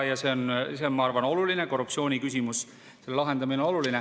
Ja see on, ma arvan, oluline, korruptsiooniküsimuse lahendamine on oluline.